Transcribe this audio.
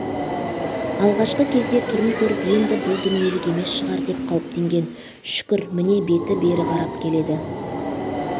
алғашқы кезде түрін көріп енді бұл дүниелік емес шығар деп қауіптенген шүкір міне беті бері қарап келеді